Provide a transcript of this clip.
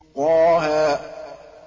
طه